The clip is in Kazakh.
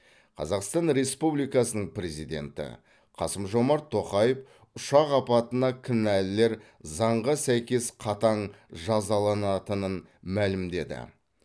қазақстан республикасының президенті қасым жомарт тоқаев ұшақ апатына кінәлілер заңға сәйкес қатаң жазаланатынын мәлімдеді